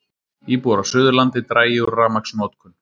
Íbúar á Suðurlandi dragi úr rafmagnsnotkun